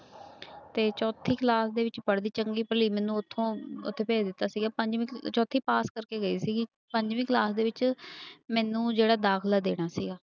ਤੇ ਚੌਥੀ class ਦੇ ਵਿੱਚ ਪੜ੍ਹਦੀ ਚੰਗੀ ਭਲੀ ਮੈਨੂੰ ਉੱਥੋਂ, ਉੱਥੇ ਭੇਜ ਦਿੱਤਾ ਸੀਗਾ ਪੰਜਵੀਂ ਚੌਥੀ ਪਾਸ ਕਰਕੇ ਗਈ ਸੀਗੀ ਪੰਜਵੀਂ class ਦੇ ਵਿੱਚ ਮੈਨੂੰ ਜਿਹੜਾ ਦਾਖਲਾ ਦੇਣਾ ਸੀਗਾ।